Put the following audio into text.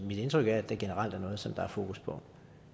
indtryk er at det generelt er noget som der er fokus på